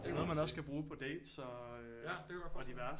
Det er noget man også kan bruge på dates og diverse